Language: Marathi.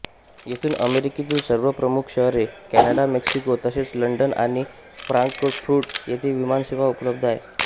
येथून अमेरिकेतील सर्व प्रमुख शहरे कॅनडा मेक्सिको तसेच लंडन आणि फ्रांकफुर्ट येथे विमानसेवा उपलब्ध आहे